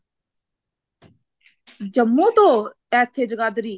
ਜੰਮੂ ਤੋਂ ਇੱਥੇ ਜਗਾਦਰੀ